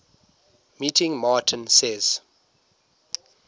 meeting martin says